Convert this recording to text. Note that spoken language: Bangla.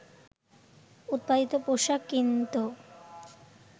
উৎপাদিত পোশাক কিনতো